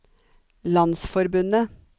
landsforbundet